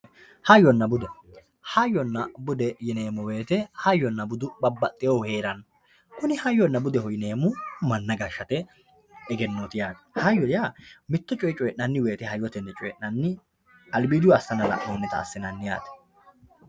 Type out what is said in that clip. Hayyonna bude, hayyonna bude yineemmo woyte hayyonna budu babbaxxinohu heerano kuni hayyonna budeho yineemmohu manna gashate egennoti yaate ,hayyo yaa mitto coye coyi'nanni woyte hayyotenni coyi'nanni albidihu assana la'nonite yaate.